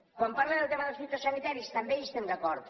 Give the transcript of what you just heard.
quan parla del tema dels fitosanitaris també hi estem d’acord